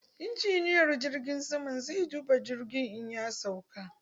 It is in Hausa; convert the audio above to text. Injiniyar jirgin sama zai duba jirgin in ya sauka.